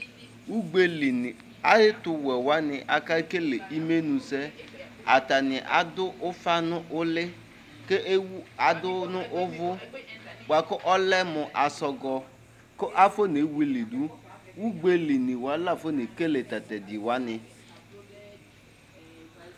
Ugbeli ni ayɛ tu wɛ wani kekele ɩmenu sɛ Atani aɖu ufa nu ulɩ kewu aɖu nu uvu bua kɔlɛ mu asɔgɔ kafɔ newilifɖu Ugbe'i ni wani lafɔ nekele tatɛɖɩ wani